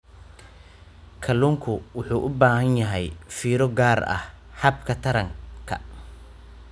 Kalluunku wuxuu u baahan yahay fiiro gaar ah habka taranka.